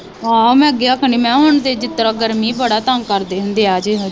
ਆਹੋ ਮੈ ਅੱਗੇ ਆਖਣ ਦੀ ਮੈ ਹੁਣ ਤੇ ਜਿਸਤਰਾਂ ਗਰਮੀ ਬੜਾ ਤੰਗ ਕਰਦੇ ਹੁੰਦੇ ਆ